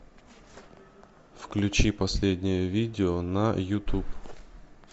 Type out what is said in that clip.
включи последнее видео на ютуб